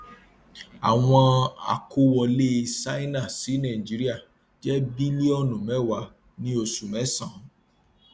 àwọn àkówọlé ṣáínà sí nàìjíríà jẹ bílíọnù mẹwàá ní oṣù mésànán